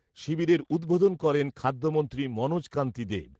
শিবিরের উদ্বোধন করেন খাদ্যমন্ত্রী মনোজ কান্তি দবে।